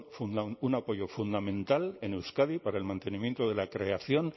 un apoyo fundamental en euskadi para el mantenimiento de la creación